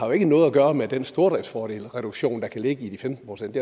jo ikke noget at gøre med den stordriftsfordelsreduktion der kan ligge i de femten procent